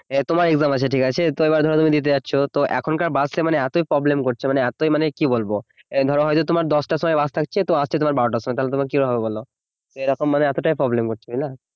তোমার exam আছে ঠিক আছে তো এবার ধরো তুমি দিতে যাচ্ছ তো এখনকার বাসটা মানে এতই problem করছে মানে এতই মানে কি বলবো এ ধরো হয়ত তোমার দশটার সময় বাস থাকছে তো আসছে তোমার বারোটার সময় তাহলে তখন কি হবে বলো এরকম মানে এতটাই problem করছে তাই না